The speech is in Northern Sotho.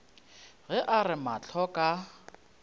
ge a re mahlo ka